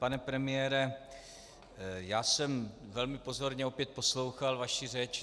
Pane premiére, já jsem velmi pozorně opět poslouchal vaši řeč.